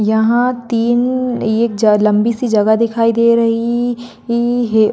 यहाँ तीन ये एक ज लम्बी सी जगह दिखाई दे रही ई ई है।